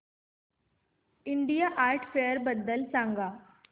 India art fair बद्दल सांग